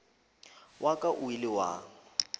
wa ka o ile wa